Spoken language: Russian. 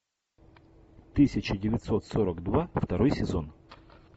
тысяча девятьсот сорок два второй сезон